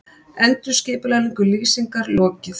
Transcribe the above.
Endurskipulagningu Lýsingar lokið